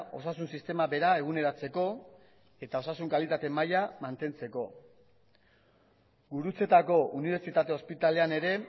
osasun sistema bera eguneratzeko eta osasun kalitate maila mantentzeko gurutzetako unibertsitate ospitalean ere